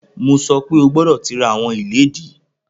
Mo sọ pe, o gbọdọ ti ra awọn iledìí!